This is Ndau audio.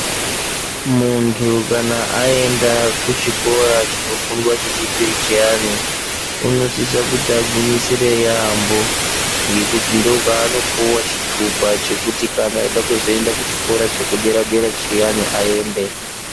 Muntu kana agenda kuchikora chinofundwa chechipiri chiyani unosisa kuti agwinyisire yambo ngekuti ndokwanopuwa chitupa chekuti kana eida kuzoenda kuchikora chedera dera chiyani aende.